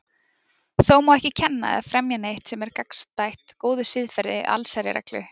Þó má ekki kenna eða fremja neitt sem er gagnstætt góðu siðferði eða allsherjarreglu.